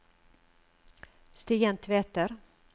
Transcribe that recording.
Stian Tveter